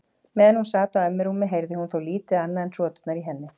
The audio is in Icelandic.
Meðan hún sat á ömmu rúmi heyrði hún þó lítið annað en hroturnar í henni.